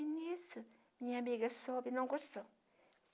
E nisso, minha amiga soube e não gostou.